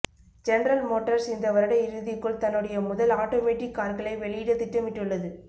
general Motors இந்த வருட இறுதிக்குள் தன்னுடைய முதல் ஆட்டோமேட்டிக் கார்களை வெளியிட திட்டமிட்டுள்ளது